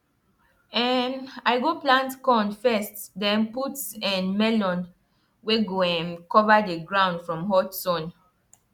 um i go plant corn first then put um melon wey go um cover the ground from hot sun